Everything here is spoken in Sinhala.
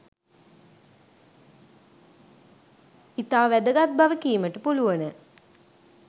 ඉතා වැදගත් බව කීමට පුළුවන.